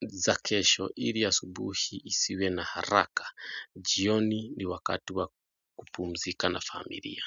za kesho ili asubuhi isiwe na haraka. Jioni ni wakati wa kupumzika na familia.